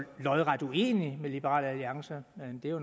lodret uenige med liberal alliance men det er jo